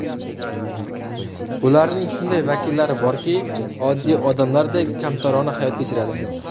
Ularning shunday vakillari borki, oddiy odamlardek, kamtarona hayot kechiradi.